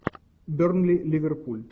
бернли ливерпуль